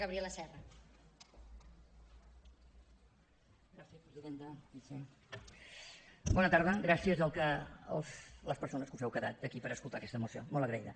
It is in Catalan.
gràcies a les persones que us heu quedat aquí per escoltar aquesta moció molt agraïda